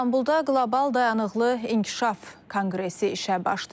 İstanbulda qlobal dayanıqlı inkişaf konqresi işə başlayıb.